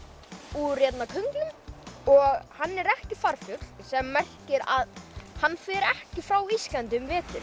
úr könglum og hann er ekki farfugl sem merkir að hann fer ekki frá Íslandi um vetur